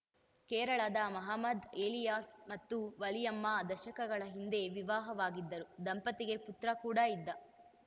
ಕೇರಳದ ಮಹಮ್ಮದ್‌ ಎಲಿಯಾಸ್‌ ಮತ್ತು ವಲಿಯಮ್ಮ ದಶಕಗಳ ಹಿಂದೆ ವಿವಾಹವಾಗಿದ್ದರು ದಂಪತಿಗೆ ಪುತ್ರ ಕೂಡಾ ಇದ್ದ